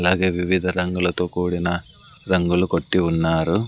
అలాగే వివిధ రంగులతో కూడిన రంగులు కొట్టి ఉన్నారు.